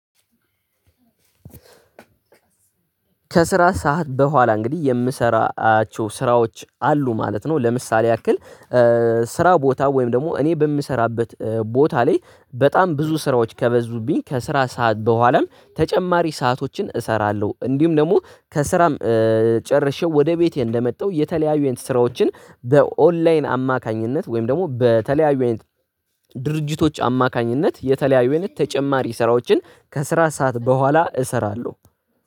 ከስራ ሰዓት በኋላ እንግዲህ የምሰራቸው ስራዎች አሉ ማለት ነው። ለምሳሌ ያክል ስራ ቦታ ወይም ደግሞ እኔ በምሰራበት ቦታ ላይ በጣም ብዙ ስራዎች ከበዙብኝ ከስራ ሰዓት በኋላም ተጨማሪ ሰአቶችን እሰራለሁ እንዲሁም ደግሞ ከስራም ጨርሼው ወደ ቤቴ እንደመጣው የተለያዩ አይነት ስራዎችን በኦንላይን አማካኝነት ወይም ደግሞ በተለያዩ አይነት ድርጅቶች አማካኝነት የተለያዩ አይነት ተጨማሪ ስራዎችን ከስራ ሰዓት በኋላ እሰራለሁ።